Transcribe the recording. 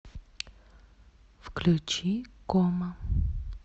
включи кома